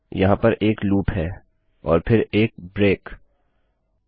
यहाँ पर एक लूप है और फिर एक ब्रेक विराम